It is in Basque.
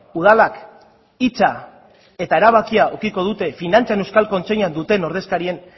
udalak hitza eta erabakia edukiko dute finantzen euskal kontseiluan duten ordezkarien